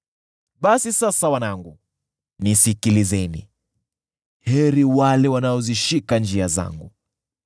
“Basi sasa wanangu, nisikilizeni; heri wale wanaozishika njia zangu.